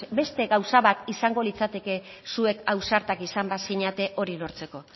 beste gauza bat izango litzateke zuek ausartak izan bazinete hori lortzeko